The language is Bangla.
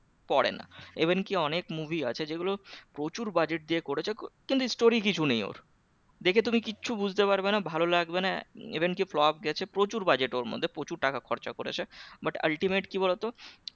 পরেনা even কি অনেক movie আছে যেগুলো প্রচুর budget দিয়ে করেছে কিন্তু story কিছু নেই ওর দেখে তুমি কিচ্ছু বুঝতে পারবে না ভালো লাগবে না even কি flop দিয়েছে প্রচুর budget ওর মধ্যে প্রচুর টাকা খরচা করেছে but ultimate কি বলতো